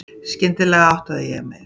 Skyndilega áttaði ég mig.